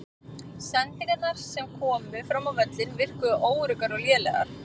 Sendingarnar sem komu fram á völlinn virkuðu óöruggar og lélegar.